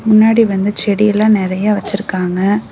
முன்னாடி வந்து செடியலா நறையா வச்சுருக்காங்க.